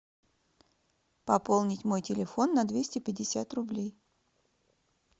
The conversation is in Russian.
пополнить мой телефон на двести пятьдесят рублей